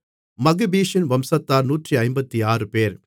மக்பீஷின் வம்சத்தார் 156 பேர்